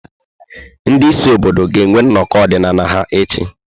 Ndị isi obodo ga-enwe nnọkọ ọdịnala ha echi.